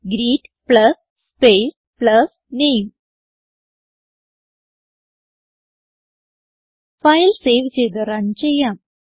greet plus space plus name file save ചെയ്ത് run ചെയ്യാം